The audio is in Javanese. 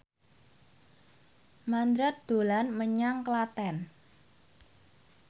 Mandra dolan menyang Klaten